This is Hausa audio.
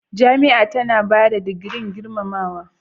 Jami'a tana ba da digirin gurmamawa.